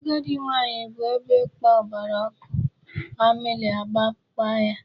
Agadi nwaanyị hụ ebe ịkpa gbara ọkụ, amịlị akpaba ya.